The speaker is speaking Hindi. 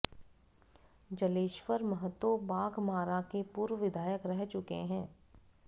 जलेश्वर महतो बाघमारा के पूर्व विधायक रह चुके हैं